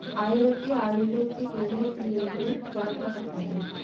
ஆயிரத்தி ஐநூத்தி எழுவத்தி ஏழில் தொடங்கபட்டது.